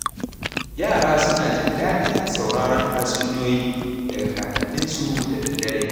Yara suna jin daɗin sauraron tatsuniyoyi daga kakanninsu da daddare.